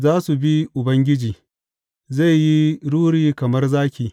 Za su bi Ubangiji; zai yi ruri kamar zaki.